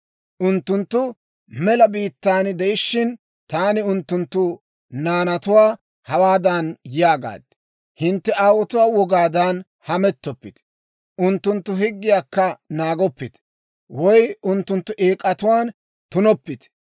« ‹Unttunttu mela biittan de'ishiina, taani unttunttu naanatuwaa hawaadan yaagaad; «Hintte aawotuwaa wogaadan hamettoppite; unttunttu higgiyaakka naagoppite; woy unttunttu eek'atuwaan tunoppite.